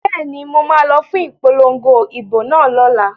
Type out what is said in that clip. Bẹ́ẹ̀ni, mo ma lọ fún ipolongo ìbò náà lọ́la